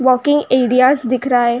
Walking areas दिख रहा है।